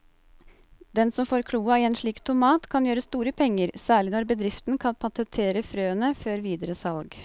Den som får kloa i en slik tomat kan gjøre store penger, særlig når bedriften kan patentere frøene før videre salg.